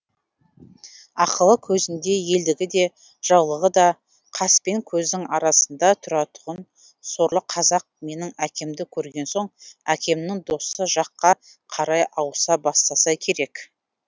ақылы көзінде елдігі де жаулығы да қаспен көздің арасында тұратұғын сорлы казақ менің әкемді көрген соң әкемнің досы жаққа қарай ауыса бастаса керек